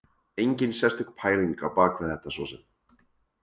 Enginn sérstök pæling á bak við þetta svo sem.